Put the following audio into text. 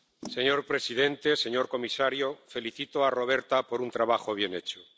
Señor presidente, señor comisario, felicito a Roberta por un trabajo bien hecho